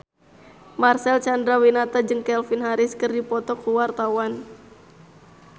Marcel Chandrawinata jeung Calvin Harris keur dipoto ku wartawan